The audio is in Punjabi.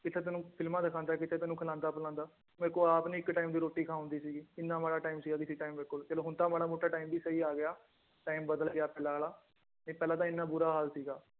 ਕਿੱਥੇ ਤੈਨੂੰ ਫ਼ਿਲਮਾਂ ਦਿਖਾਉਂਦਾ ਕਿੱਥੇ ਤੈਨੂੰ ਖਿਲਾਉਂਦਾ ਪਿਲਾਉਂਦਾ ਮੇਰੇ ਕੋਲ ਆਪ ਨੀ ਇੱਕ time ਦੀ ਰੋਟੀ ਖਾ ਹੁੰਦੀ ਸੀਗੀ ਇੰਨਾ ਮਾੜਾ time ਸੀਗਾ ਕਿਸੇ time ਮੇਰੇ ਕੋਲ ਹੁਣ ਤਾਂ ਮਾੜਾ ਮੋਟਾ time ਵੀ ਸਹੀ ਆ ਗਿਆ time ਬਦਲ ਗਿਆ ਫਿਲਹਾਲ ਨਹੀਂ ਪਹਿਲਾਂ ਤਾਂ ਇੰਨਾ ਬੁਰਾ ਹਾਲ ਸੀਗਾ